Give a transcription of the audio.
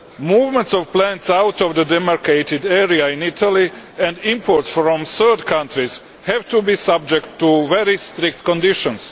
Movements of plants out of the demarcated area in Italy and imports from third countries have to be subject to very strict conditions.